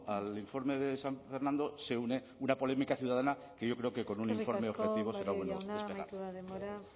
al informe de san fernando se une una polémica ciudadana que yo creo que con un informe objetivo será bueno despejar eskerrik asko barrio jauna amaitu da denbora